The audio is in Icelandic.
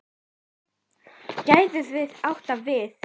Hæð getur átt við